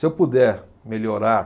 Se eu puder melhorar